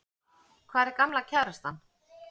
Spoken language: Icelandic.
Hvar er gamla kærastan?